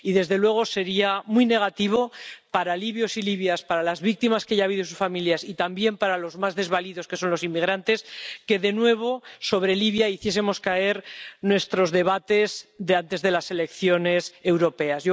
Y desde luego, sería muy negativo para libios y libias, para las víctimas que ya ha habido y sus familias, y también para los más desvalidos, que son los inmigrantes, que de nuevo sobre Libia hiciésemos caer nuestros debates de antes de las elecciones europeas.